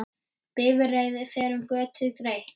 Bifreið fer um götur greitt.